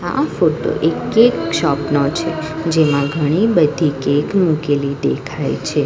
આ ફોટો એક cake shop નો છે જેમાં ઘણી બધી કેક મૂકેલી દેખાય છે.